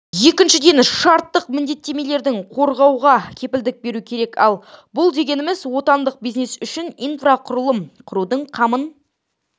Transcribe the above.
екіншіден шарттық міндеттемелерді қорғауға кепілдік беру керек ал бұл дегеніміз отандық бизнес үшін инфрақұрылым құрудың қамын